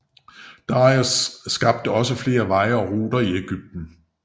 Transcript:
Dareios skabte også flere veje og ruter i Egypten